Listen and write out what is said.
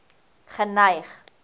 geneig